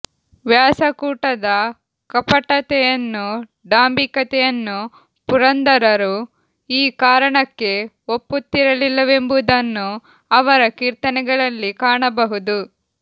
ವ್ಯಾಸಕೂಟದ ಕಪಟತೆಯನ್ನು ಡಾಂಭಿಕತೆಯನ್ನು ಪುರಂದರರು ಈ ಕಾರಣಕ್ಕೆ ಒಪ್ಪುತ್ತಿರಲಿಲ್ಲವೆಂಬುದನ್ನು ಅವರ ಕೀರ್ತನೆಗಳಲ್ಲಿ ಕಾಣಬಹುದು